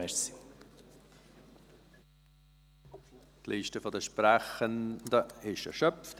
Die Liste der Sprechenden ist erschöpft.